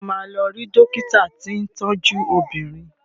Ṣé o máa lọ rí dọ́kítà tí ń tọ́jú obìnrin?